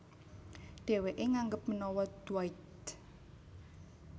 Dhèwèké nganggep menawa Dwight